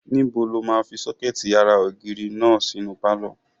Níbo lo máa fi sọ́kẹ̀tì ara ògiri náà sínú pálọ̀?